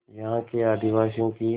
यहाँ के आदिवासियों की